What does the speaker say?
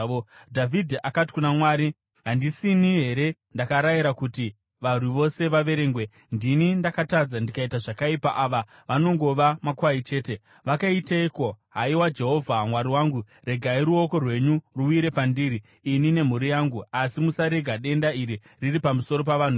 Dhavhidhi akati kuna Mwari, “Handisini here ndakarayira kuti varwi vose vaverengwe? Ndini ndakatadza ndikaita zvakaipa, ava vanongova makwai chete. Vakaiteiko? Haiwa Jehovha, Mwari wangu, regai ruoko rwenyu ruwire pandiri ini nemhuri yangu, asi musarega denda iri riri pamusoro pavanhu venyu.”